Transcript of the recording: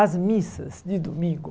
As missas de domingo.